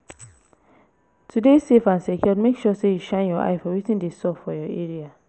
To de safe and secured make sure say you shine your eyes for wetin de sup for your area